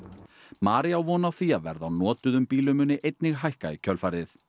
María á von á því að verð á notuðum bílum muni einnig hækka í kjölfarið